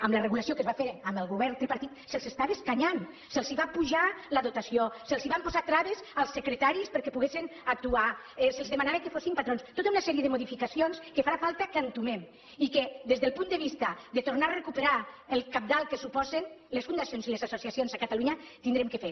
amb la regulació que es va fer amb el govern tripartit se’ls estava escanyant se’ls va apujar la dotació se’ls van posar traves als secretaris perquè poguessen actuar se’ls demanava que fossin patrons tota una sèrie de modificacions que farà falta que entomem i que des del punt de vista de tornar a recuperar el cabdal que suposen les fundacions i les associacions a catalunya haurem de fer